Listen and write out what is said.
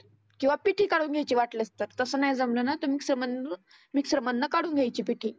किंवा पिठी काढुन घ्यायची वाटल्यास. तसं नाही जमलं ना मिक्सर मधुन मिक्सर मधनं काढुन घ्यायची पिठी.